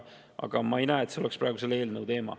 Aga ma ei näe, et see oleks praeguse eelnõu teema.